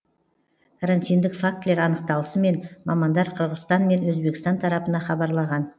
карантиндік фактілер анықталысымен мамандар қырғызстан мен өзбекстан тарапына хабарлаған